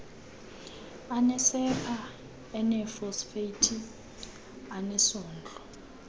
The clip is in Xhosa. anesepha eneefosfeythi anesondlo